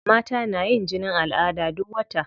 Mata na yin jinin al'ada duk wata.